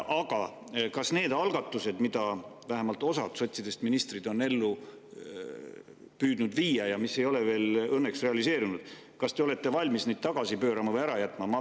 Aga kas te neid algatusi, mida vähemalt osa sotsidest ministreid püüdis ellu viia ja mis ei ole veel õnneks realiseerunud, olete valmis tagasi pöörama või ära jätma?